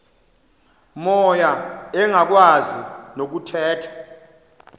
moya engakwazi nokuthetha